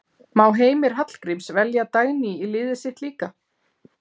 Má Heimir Hallgríms velja Dagný í liðið sitt líka?